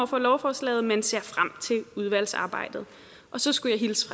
for lovforslaget men ser frem til udvalgsarbejdet og så skulle jeg hilse